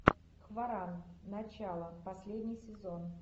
хваран начало последний сезон